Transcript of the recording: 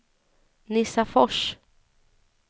Nissafors